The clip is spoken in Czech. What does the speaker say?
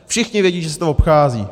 Všichni vědí, že se to obchází.